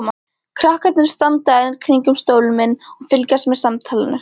Krakkarnir standa enn kringum stólinn minn og fylgjast með samtalinu.